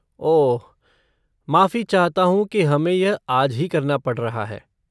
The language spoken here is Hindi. ओह, माफ़ी चाहता हूँ कि हमे यह आज ही करना पड़ रहा है।